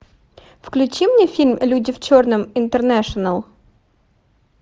включи мне фильм люди в черном интернэшнл